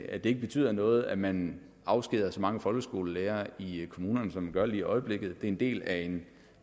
at det ikke betyder noget at man afskediger så mange folkeskolelærere i kommunerne som man gør lige i øjeblikket det er en del af en